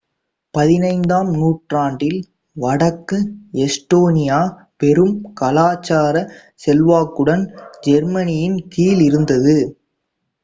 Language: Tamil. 15 ஆம் நூற்றாண்டில் வடக்கு எஸ்டோனியா பெரும் கலாச்சார செல்வாக்குடன் ஜெர்மனியின் கீழ் இருந்தது